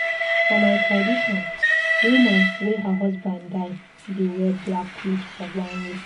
For my tradition, woman wey her husband die dey wear black clot for one year.